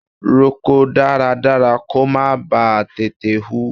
Roko dáradára kó má ba tètè hù.